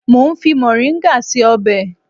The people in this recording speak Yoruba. Mo ń fi mọ̀ríngà ṣe ọbẹ̀